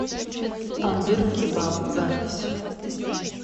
тандыр кебаб запись